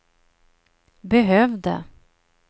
behövde